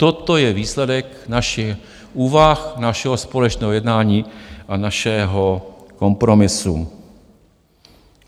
Toto je výsledek našich úvah, našeho společného jednání a našeho kompromisu.